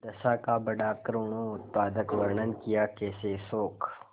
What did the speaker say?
दशा का बड़ा करूणोत्पादक वर्णन कियाकैसे शोक